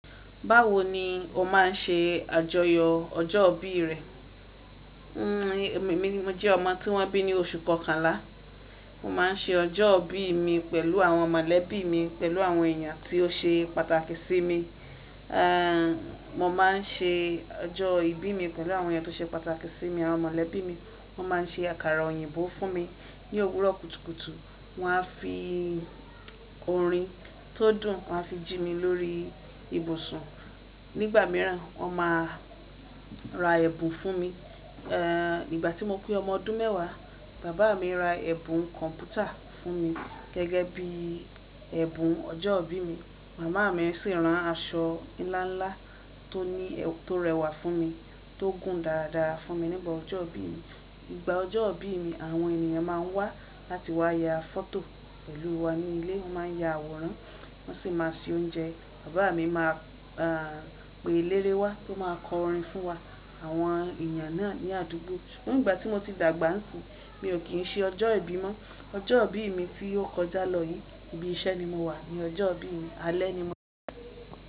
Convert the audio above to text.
Báwo ni o máa ń ṣe àjọyọ̀ ọjọ́ ìbí rẹ? Mo jẹ́ ọmọ tí wọ́n bí ní oṣù kọkànlá. Mo máa ń ṣe ọjọ́ ìbí mi pẹ̀lú àwọn mọ̀lẹ́bí mi, pẹ̀lú àwọn èeyàn tí ó ṣe pàtàkì sí mi. Mo má n ṣe ọjọ́ ìbí mi pẹ̀lú àwọn èyàn tó ṣe pàtàkì sí mi, àwọn mọ̀lẹ́bí mi. Wọ́n máa ń ṣe àkàrà òyìnbó fún mi. Ni òwúrọ̀ kùtùkùtù, wọ́n a fi orin tó dùn, wọ́n a fi jí mi lórí ibùsùn. Nígbà mìíràn, wọ́n máa ra ẹ̀bùn fún mi. Nígbà tí mo pé ọmọ ọdún mẹ́wàá, bàbá mi ra ẹ̀bùn kọ̀mpútà fún mi gẹ́gẹ́ bí ẹ̀bùn ọjọ́ ìbí mi. Màmá mi sì rán aṣọ ńlá ńlá tóni to rẹwà fún mi, tó gùn dáradára fún mi nígbà ọjọ́ ìbí mi. Ígbà ọjọ́ ìbí mi, àwọn ènìyàn máa ń wá láti wá ya fọ́tò pẹ̀lú wa ní ilé. Wọ́n máa ń ya àwòrán, wọ́n sì máa se oúnjẹ. Bàbá mi máa pe eléré wa tó máa kọ orin fún wa àwọn èeyàn náà ní àdúgbò. Nígbà tí mo ti dàgbà sin, mi ò kín ṣe ọjọ́ ìbí mọ. Ọjọ́ ìbí mi tí ó kọjá lọ yìí, ibi iṣẹ́ ni mo wà ní ọjọ́ ìbí mi, alẹ́ ni mo.